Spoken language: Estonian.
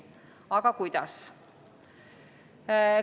Aga kuidas?